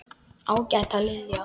Ágæta Lilja.